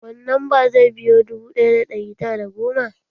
Wani lamba zai biyo dubu ɗaya da ɗari tara da goma?